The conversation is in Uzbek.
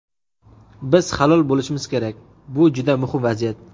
Biz halol bo‘lishimiz kerak – bu juda muhim vaziyat.